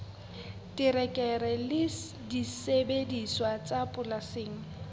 terekere le disebediswa tsa polasing